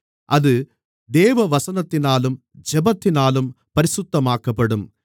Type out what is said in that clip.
அது தேவவசனத்தினாலும் ஜெபத்தினாலும் பரிசுத்தமாக்கப்படும்